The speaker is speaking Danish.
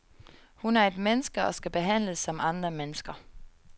Hun er et menneske og skal behandles som andre mennesker.